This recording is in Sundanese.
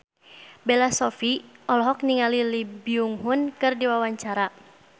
Bella Shofie olohok ningali Lee Byung Hun keur diwawancara